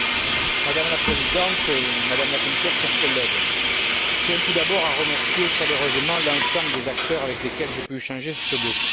Madame la Présidente, Madame la Commissaire, chers collègues, je tiens tout d'abord à remercier chaleureusement l'ensemble des acteurs avec lesquels j'ai pu échanger sur ce dossier.